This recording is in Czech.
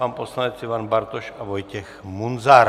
Pan poslanec Ivan Bartoš a Vojtěch Munzar.